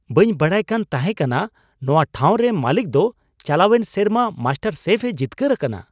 ᱵᱟᱹᱧ ᱵᱟᱰᱟᱭᱠᱟᱱ ᱛᱟᱦᱮᱸᱠᱟᱱᱟ ᱱᱚᱣᱟ ᱴᱷᱟᱣ ᱨᱮᱱ ᱢᱟᱹᱞᱤᱠ ᱫᱚ ᱪᱟᱞᱟᱣᱮᱱ ᱥᱮᱨᱢᱟ ᱢᱟᱥᱴᱟᱨᱥᱮᱯᱷᱼᱮ ᱡᱤᱛᱠᱟᱹᱨ ᱟᱠᱟᱱᱟ ᱾